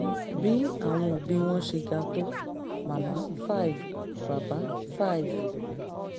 bí àwọn òbí wọn ṣe ga tó màmá- five bàbá- five